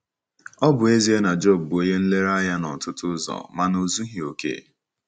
Ọ bụ ezie na Job bụ onye nlereanya n’ọtụtụ ụzọ, mana o zughị ókè.